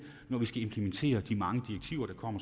når vi skal implementere de mange direktiver